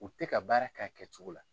U tɛ ka baara kɛ a kɛcogo la.